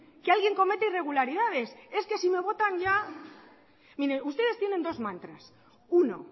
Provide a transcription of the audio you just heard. que alguien comete irregularidades es que si me votan ya mire ustedes tienen dos mantras uno